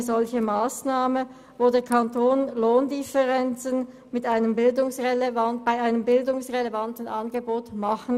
Mit einer solchen Massnahme kann der Kanton Lohndifferenzen über ein bildungsrelevantes Angebot ausgleichen.